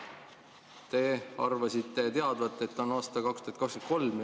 Te arvasite teadvat, et on aasta 2023.